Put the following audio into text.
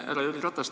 Härra Jüri Ratas!